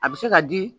A bɛ se ka di